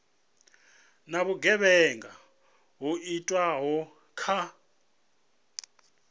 na vhugevhenga ho itwaho kha